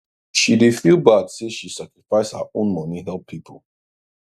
she dey feel bad say she sacrifice her own money help people